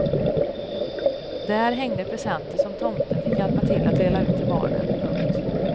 Där hängde presenter som tomten fick hjälpa till att dela ut till barnen. punkt